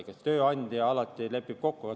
Igatahes tööandja alati lepib kokku.